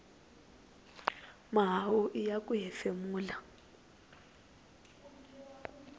mahawu iya ku hefemula